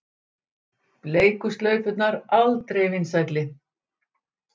Bleiku slaufurnar aldrei vinsælli